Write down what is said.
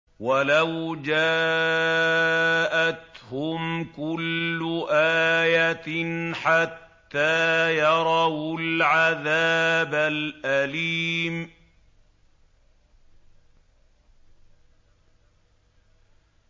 وَلَوْ جَاءَتْهُمْ كُلُّ آيَةٍ حَتَّىٰ يَرَوُا الْعَذَابَ الْأَلِيمَ